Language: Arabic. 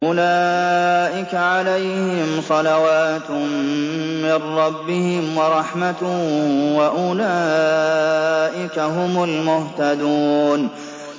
أُولَٰئِكَ عَلَيْهِمْ صَلَوَاتٌ مِّن رَّبِّهِمْ وَرَحْمَةٌ ۖ وَأُولَٰئِكَ هُمُ الْمُهْتَدُونَ